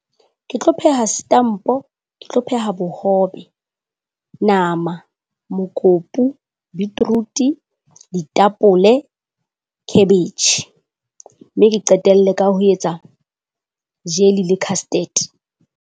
Ke tlo pheha setampo, ke tlo pheha bohobe, nama, mokopu, beetroot-e, ditapole, cabbage mme ke qetelle ka ho etsa jelly le custard.